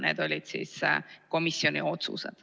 Need olid komisjoni otsused.